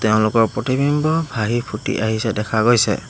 তেওঁলোকৰ প্ৰতিবিম্ব ভাঁহি ফুটি আহিছে দেখা গৈছে।